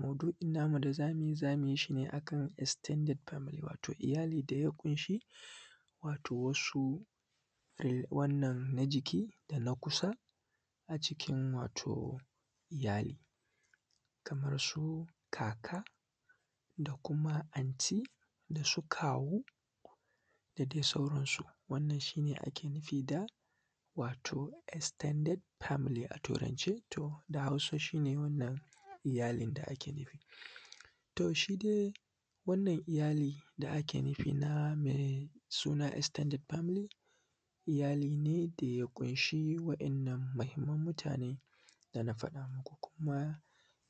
maudu’in namu da za mu yi, za mu yi shi ne a kan extended family wato iyali da ya ƙunshi wato wasu wannan na jiki da na kusa a cikin wato iyali. Kamar su kaka da kuma anti, da su kawu, da dai sauransu. Wannan shi ne ake nufi da wato extended family a turance, to da hausa shi ne wannan iyalin da ake nufi. To shi dai wannan iyali da ake nufi na mai suna extended family, iyali ne da ya ƙunshi wa’innan muhimman mutane da na faɗa muku, kuma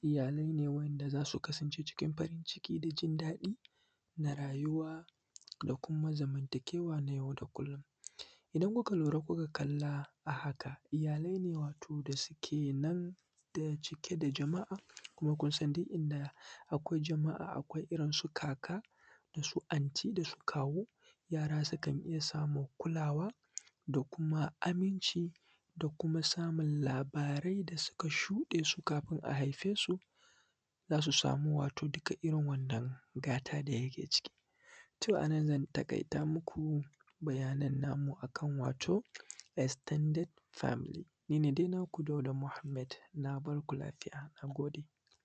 iyalai ne wanda za su kasance cikin farin ciki da jin daɗi da rayuwa da kuma zamantakewa na yau da kullum. Idan kuka lura kuka kalla a haka iyalai ne wato da suke nan da cike da jama’a. Kuma kun san duk inda akwai jama’a akwai irin su kaka da su anti, da kawu. Yara sukan iya samun kulawa da kuma aminci da kuma samun labarai da suka shuɗe su kafin a haife su, za su samu wato duka irin wannan gata da ake ciki. To a nan zan taƙaita maku bayanan namu a kan wato extended family. Ni ne dai naku Dauda Muhammad. Na bar ku lafiya. Na gode.